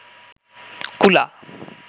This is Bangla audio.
কুলা